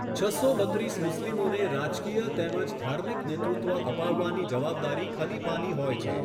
છસો બત્રીસ મુસ્લિમોને રાજકીય તેમજ ધાર્મિક નેતૃત્વ અપાવવાની જવાબદારી ખલીફાની હોય છે.